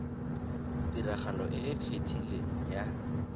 tiragalo e e kgethileng ya